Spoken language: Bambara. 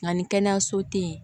Nka ni kɛnɛyaso tɛ yen